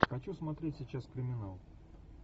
хочу смотреть сейчас криминал